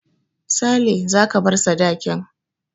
Sale, za ka bar dakin